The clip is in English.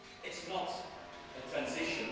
It is not a transition